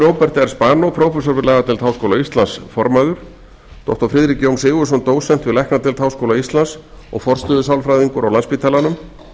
róbert r spanó prófessor við lagadeild háskóla íslands formaður doktor friðrik jón sigurðsson dósent við læknadeild háskóla íslands og forstöðusálfræðingur á landspítalanum